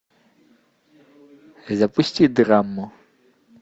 запусти драму